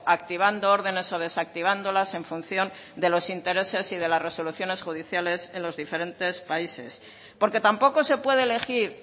activando órdenes o desactivándolas en función de los intereses y de las resoluciones judiciales en los diferentes países porque tampoco se puede elegir